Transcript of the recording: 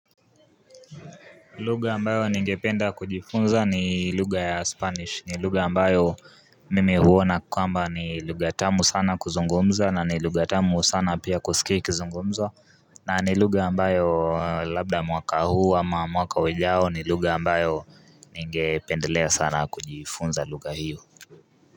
Luga ambayo ningependa kujifunza ni luga ya spanish ni luga ambayo mime huona kwamba ni luga tamu sana kuzungomza na ni luga tamu sana pia kusiki kuzungomzwa. Na ni luga ambayo labda mwaka huu ama mwaka wejao ni luga ambayo ningependelea sana kujifunza luga hiyo.